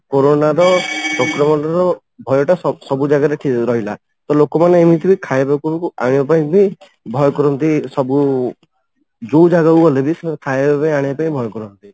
corona ର ସଂକ୍ରମଣ ର ଭୟ ଟା ସବୁ ଜାଗାରେ ରହିଲା ତ ଲୋକ ମାନେ ଏମିତି ବି ଖାଇବାକୁ ଆଣିବା ପାଇଁ ବି ଭୟ କରନ୍ତି ସବୁ ଯୋଉ ଜାଗା କୁ ଗଲେ ବି ସେମାନେ ଖାଇବା ପିଇବା ଆଣିବା ପାଇଁ ବି ଭୟ କରନ୍ତି